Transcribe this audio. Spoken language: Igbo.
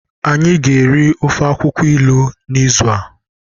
anyi ga eri ofe akwukwo ilu n'izu a